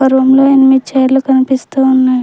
Room లో ఎనిమిద్ చైర్లు కనిపిస్తూ ఉన్నాయ్.